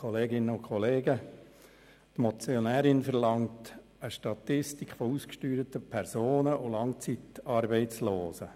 Die Motionärin verlangt eine Statistik über ausgesteuerte Personen und Langzeitarbeitslose.